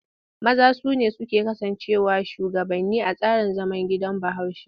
Maza su ne suke kasancewa shugabanni a tsarin zaman gidan Bahaushe.